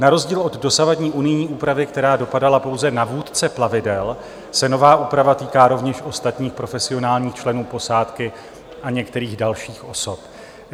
Na rozdíl od dosavadní unijní úpravy, která dopadala pouze na vůdce plavidel, se nová úprava týká rovněž ostatních profesionálních členů posádky a některých dalších osob.